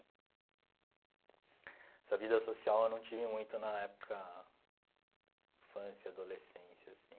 Essa vida social eu não tive muito na época, infância, adolescência, assim.